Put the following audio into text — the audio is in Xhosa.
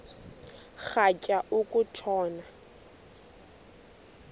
rhatya uku tshona